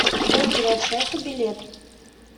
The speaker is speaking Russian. бургеры от шефа билет